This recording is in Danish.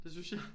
Det synes jeg